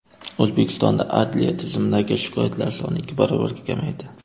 O‘zbekistonda adliya tizimidagi shikoyatlar soni ikki barobarga kamaydi.